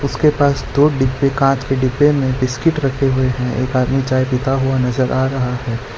उसके पास दो डिब्बे कांच के डिब्बे में बिस्किट रखे हुए हैं एक आदमी चाय पीता हुआ नजर आ रहा है।